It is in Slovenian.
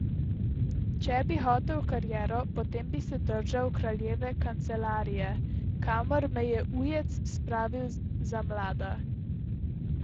Če bi hotel kariero, potem bi se držal kraljeve kancelarije, kamor me je ujec spravil za mlada.